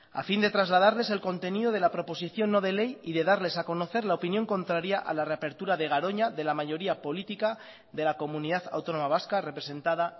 a fin de trasladarles el contenido de la proposición no de ley y de darles a conocer la opinión contraria a la reapertura de garoña de la mayoría política de la comunidad autónoma vasca representada